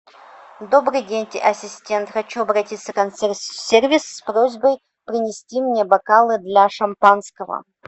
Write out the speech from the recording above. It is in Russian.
добрый день ассистент хочу обратиться в консьерж сервис с просьбой принести мне бокалы для шампанского